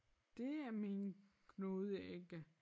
Det er min knude ikke